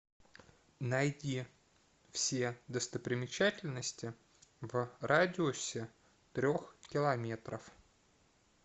найди все достопримечательности в радиусе трех километров